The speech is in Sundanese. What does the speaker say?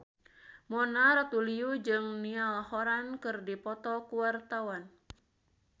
Mona Ratuliu jeung Niall Horran keur dipoto ku wartawan